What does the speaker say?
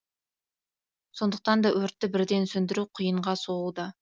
сондықтан да өртті бірден сөндіру қиынға соғуда